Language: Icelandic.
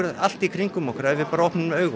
allt í kringum okkur ef við opnum augun